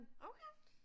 Okay